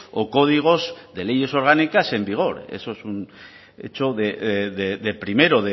o códigos de leyes orgánicas en vigor eso es un hecho de primero